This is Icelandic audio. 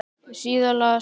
Síðan las hann